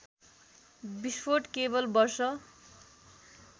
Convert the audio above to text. विस्फोट केवल वर्ष